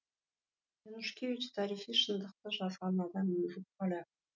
янушкевич тарихи шындықты жазған адам өзі поляк